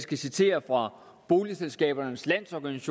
kan citere fra boligselskabernes landsforenings